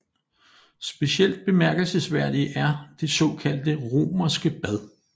Specielt bemærkelsesværdig er det såkaldte romerske bad